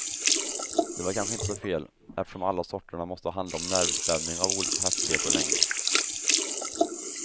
Det var kanske inte så fel, eftersom alla sorterna måste handla om nervspänning av olika häftighet och längd.